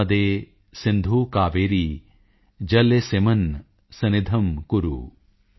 ਨਰਮਦੇ ਸਿੰਧੂ ਕਾਵੇਰੀ ਜਲੇਸਿਮਨ ਸਨਿਧਿੰ ਕੁਰੁ